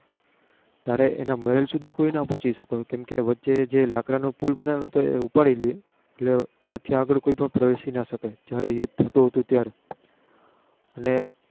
ત્યારે તેના મહેલ સુધુ કોઈ ના પહોચી કેમ કે શકે વચ્ચે જે લાકડા નો Pool ઉપાડી લિયે એટલે ત્યાંથી આગળ કોઈ પણ પ્રવીશી ના શકે.